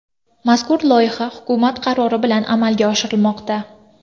Mazkur loyiha hukumat qarori bilan amalga oshirilmoqda.